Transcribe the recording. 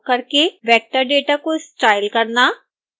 labeling features का उपयोग करके वेक्टर डेटा को स्टाइल करना